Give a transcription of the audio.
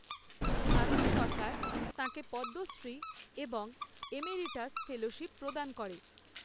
ভারত সরকার তাঁকে পদ্মশ্রী এবং এমেরিটাস ফেলোশিপ প্রদান করে।